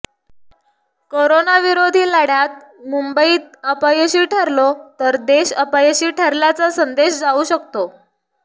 कोरोनाविरोधी लढ्यत मुंबईत अपयशी ठरलो तर देश अपयशी ठरल्याचा संदेश जाऊ शकतो